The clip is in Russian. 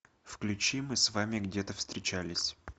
включи мы с вами где то встречались